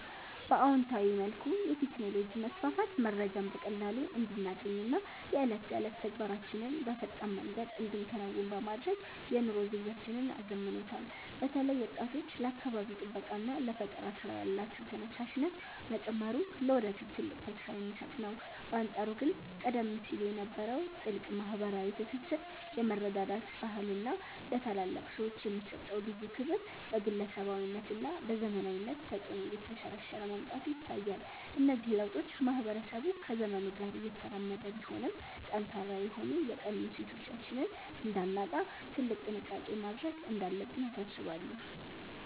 በአዎንታዊ መልኩ፣ የቴክኖሎጂ መስፋፋት መረጃን በቀላሉ እንድናገኝና የዕለት ተዕለት ተግባራችንን በፈጣን መንገድ እንድንከውን በማድረግ የኑሮ ዘይቤያችንን አዘምኖታል። በተለይ ወጣቶች ለአካባቢ ጥበቃና ለፈጠራ ሥራ ያላቸው ተነሳሽነት መጨመሩ ለወደፊት ትልቅ ተስፋ የሚሰጥ ነው። በአንጻሩ ግን ቀደም ሲል የነበረው ጥልቅ ማኅበራዊ ትስስር፣ የመረዳዳት ባህልና ለታላላቅ ሰዎች የሚሰጠው ልዩ ክብር በግለሰባዊነትና በዘመናዊነት ተጽዕኖ እየተሸረሸረ መምጣቱ ይታያል። እነዚህ ለውጦች ማኅበረሰቡ ከዘመኑ ጋር እየተራመደ ቢሆንም፣ ጠንካራ የሆኑ የቀድሞ እሴቶቻችንን እንዳናጣ ትልቅ ጥንቃቄ ማድረግ እንዳለብን ያሳስባሉ።